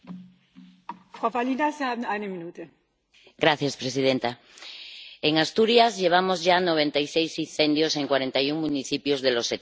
Señora presidenta, en Asturias llevamos ya noventa y seis incendios en cuarenta y un municipios de los setenta y ocho que tenemos.